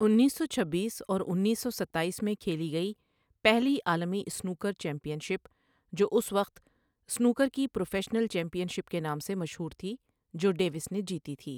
انیس سو چھبیس اور انیس سو ستایس میں کھیلی گئی، پہلی عالمی سنوکر چیمپئن شپ جو اس وقت سنوکر کی پروفیشنل چیمپئن شپ کے نام سے مشہور تھی جو ڈیوس نے جیتی تھی۔